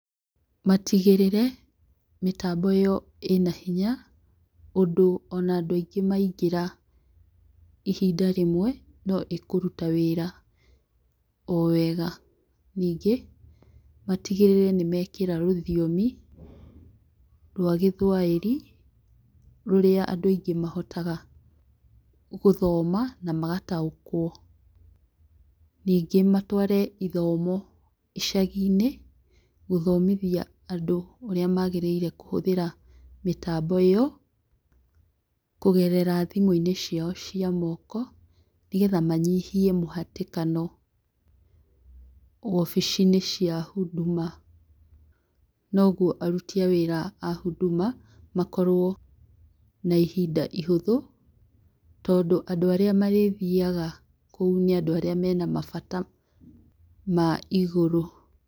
Matigĩrĩre mĩtambo ĩyo ĩna hinya ũndũ o na andũ aingĩ maingĩra ihinda rĩmwe no ĩkũruta wĩra o wega, ningĩ matigĩrĩre nĩ mekĩra rũthiomi rwa gĩthwaĩri, rũrĩa andũ aingĩ mahotaga gũthoma na magataũkwo, ningĩ matware ithomo icagi-inĩ gũthomithia andũ ũria marĩgĩrĩire kũhũthĩra mĩtambo ĩyo kũgerera thimũ-inĩ ciao cia moko, nĩgetha manyihie mũhatĩkano wobici-inĩ cia Huduma noguo aruti a wĩra a Huduma makorwo na ihinda ihũthũ, tondũ andũ arĩa marĩ thiaga kũu nĩ andũ arĩa mena mabata ma igũrũ.